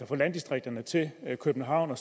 fra landdistrikterne til københavn